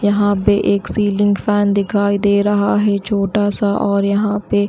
यहां पे एक सीलिंग फैन दिखाई दे रहा है छोटा सा और यहां पे--